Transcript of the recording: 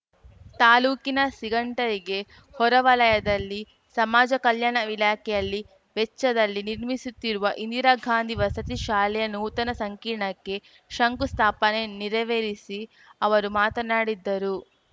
ತಾಲೂಕಿನ ಸಿಂಗಟಯ್ ಗೆ ಹೊರವಲಯದಲ್ಲಿ ಸಮಾಜ ಕಲ್ಯಾಣ ಇಲಾಖೆಯಲ್ಲಿ ವೆಚ್ಚದಲ್ಲಿ ನಿರ್ಮಿಸುತ್ತಿರುವ ಇಂದಿರಾಗಾಂಧಿ ವಸತಿ ಶಾಲೆಯ ನೂತನ ಸಂಕೀರ್ಣಕ್ಕೆ ಶಂಕುಸ್ಥಾಪನೆ ನೆರವೇರಿಸಿ ಅವರು ಮಾತನಾಡಿದ್ದರು